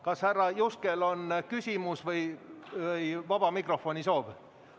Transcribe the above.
Kas härra Juskel on küsimus või vaba mikrofoni soov?